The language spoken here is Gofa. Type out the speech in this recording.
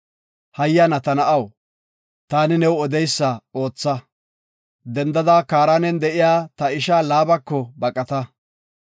Hayyana ta na7aw, taani new odeysa ootha. Dendada Kaaranen de7iya ta isha Laabako baqata.